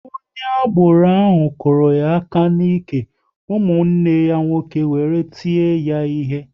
Onye agboro ahụ kụrụ ya aka n'ike, ụmụnne ya nwoke wéré tie ya ihe